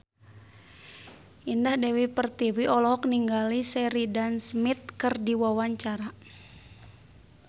Indah Dewi Pertiwi olohok ningali Sheridan Smith keur diwawancara